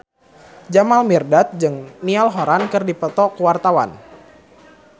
Jamal Mirdad jeung Niall Horran keur dipoto ku wartawan